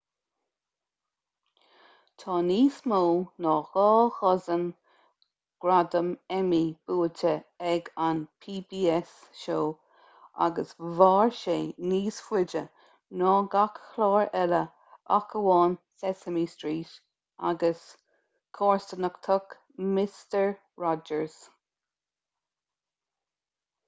tá níos mó ná dhá dhosaen gradam emmy buaite ag an pbs show agus mhair sé níos faide ná gach clár eile ach amháin sesame street agus comharsanacht mister rogers